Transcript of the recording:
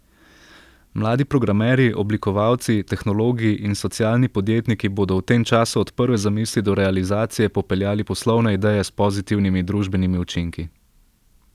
Mladi programerji, oblikovalci, tehnologi in socialni podjetniki bodo v tem času od prve zamisli do realizacije popeljali poslovne ideje s pozitivnimi družbenimi učinki.